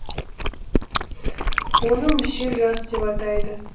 оны мүшел жас деп атайды